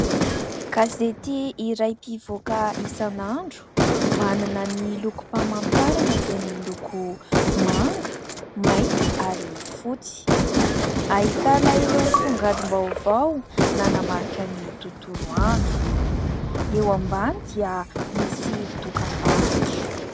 Gazety iray mpivoaka isan'andro, manana ny loko mpamantarana izay miloko manga, mainty ary fotsy. Ahitana ireo songadim-baovao nanamarika ny tontolo andro. Eo ambany dia misy dokam-barotra.